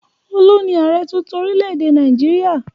Olu ni ààrẹ̀ tuntun orílẹ̀-èdè Nàìjíríà.